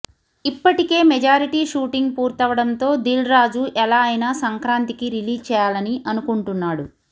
ఇప్పటికే majority shooting పూర్తవడంతో దిల్ రాజు ఎలా అయినా సంక్రాంతికి రిలీజ్ చేయాలని అనుకుంటున్నాడు